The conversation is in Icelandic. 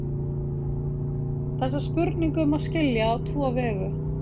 Þessa spurningu má skilja á tvo vegu.